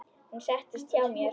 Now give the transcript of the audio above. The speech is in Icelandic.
Hún settist hjá mér.